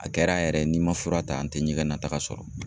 A kɛra yɛrɛ ni n ma fura ta ,n tɛ ɲɛgɛnna taga sɔrɔ.